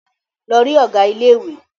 Lọ rí Ọ̀gá ilé ìwé!